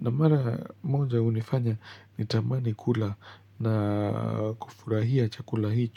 Na mara moja hunifanya nitamani kula na kufurahia chakula hicho.